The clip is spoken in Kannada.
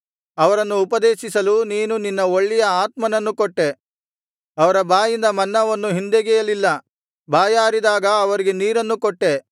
ಅವರನ್ನು ಉಪದೇಶಿಸಲು ನೀನು ನಿನ್ನ ಒಳ್ಳೆಯ ಆತ್ಮನನ್ನು ಕೊಟ್ಟೆ ಅವರ ಬಾಯಿಂದ ಮನ್ನವನ್ನು ಹಿಂದೆಗೆಯಲಿಲ್ಲ ಬಾಯಾರಿದಾಗ ಅವರಿಗೆ ನೀರನ್ನು ಕೊಟ್ಟೆ